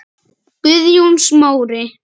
Guðjón Smári.